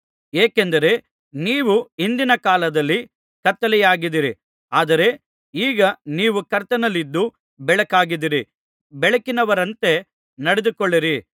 ಏಕೆಂದರೆ ನೀವು ಹಿಂದಿನ ಕಾಲದಲ್ಲಿ ಕತ್ತಲೆಯಾಗಿದ್ದಿರಿ ಆದರೆ ಈಗ ನೀವು ಕರ್ತನಲ್ಲಿದ್ದು ಬೆಳಕಾಗಿದ್ದೀರಿ ಬೆಳಕಿನವರಂತೆ ನಡೆದುಕೊಳ್ಳಿರಿ